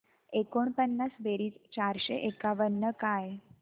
एकोणपन्नास बेरीज चारशे एकावन्न काय